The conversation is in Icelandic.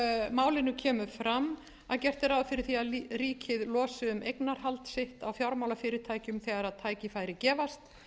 málinu kemur fram að gert er ráð fyrir því að ríkið losi um eignarhald sitt á fjármálafyrirtækjum þegar tækifæri gefast